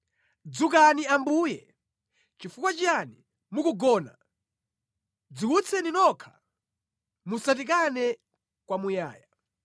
Dzukani Ambuye! Nʼchifukwa chiyani mukugona! Dziwutseni nokha! Musatikane kwamuyaya.